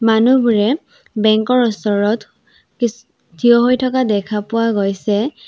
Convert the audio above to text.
মানুহবোৰে বেঙ্ক ৰ ওচৰত কিছ থিয় হৈ থকা দেখা পোৱা গৈছে।